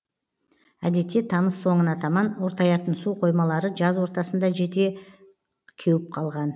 әдетте тамыз соңына таман ортаятын су қоймалары жаз ортасында жете кеуіп қалған